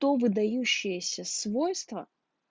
то выдающиеся свойства